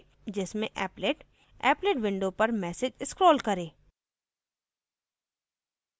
जिसमें applet appletविंडो पर message scrolls करे